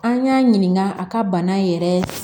An y'a ɲininka a ka bana yɛrɛ